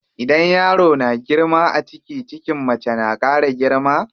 Idan yaro na girma a ciki, cikin mace na ƙara girma.